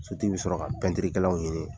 Sotigi bɛ sɔrɔ ka ɲini.